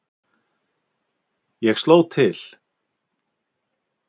Ég sló til.